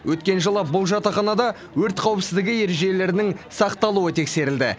өткен жылы бұл жатақханада өрт қауіпсіздігі ережелерінің сақталуы тексерілді